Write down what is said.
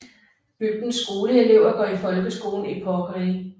Bygdens skoleelever går i folkeskolen i Porkeri